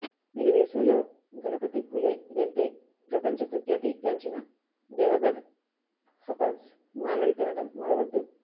మీరు వేసవిలో గణపతిపులే వెళ్తే ప్రపంచ ప్రఖ్యాతి గాంచిన దేవగడ్ హపస్ మామిడి తినడం మరవొద్దు